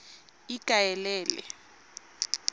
ikaelele